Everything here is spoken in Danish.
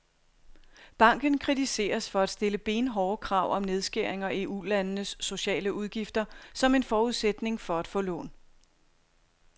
Banken kritiseres for at stille benhårde krav om nedskæringer i ulandenes sociale udgifter som en forudsætning for at få lån.